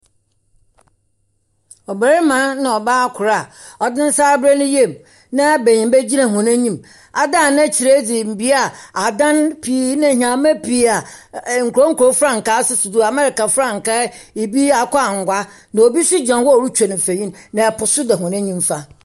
Ɔbarima na ɔbaa kor a ɔdze ne nsa abra ne yam, na benyimba gyina hɔn anim adane n'ekyir adze bea a adan pii ne nyeɛma pii a nkuro nkuro mfrankaa sisi do. Amerika frankaa, ibi akokɔ angua, na obi nso gyina hɔ a ɔretwa no mfonin, na po nso da hɔn nifa.